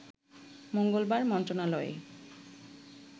মঙ্গলবার মন্ত্রণালয়ে